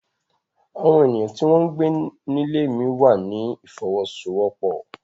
Àwọn ènìyàn tí wọ́n ń gbé nílé mí wà ní ìfọwọ́sowọ́pọ̀.